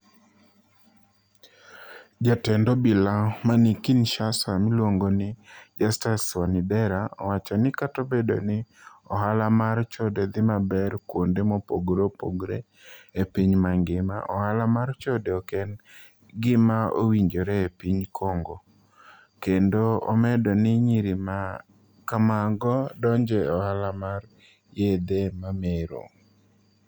jatend obila mani Kinishasa miluonigo nii Justus Wanidera Owacho nii kata obedo nii ohala mar chode dhi maber kuonide mopogore opogore e piniy manigima, ohala mar chode ok eni gima owinijore e piniy Conigo, kenido omedo nii niyiri ma kamago donijo e ohala mar yedhe mamero.